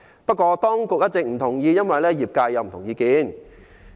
不過，當局一直不同意，因為業界持不同意見。